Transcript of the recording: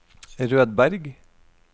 Rødberg